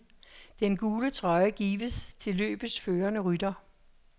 Den gule trøje gives til løbets førende rytter.